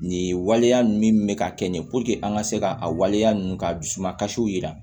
Nin waleya ninnu min bɛ ka kɛ nin ye puruke an ka se ka a waleya ninnu ka dusuma kasiw yira